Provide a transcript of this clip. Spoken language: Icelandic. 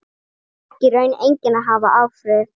Það fékk í raun enginn að hafa áhrif.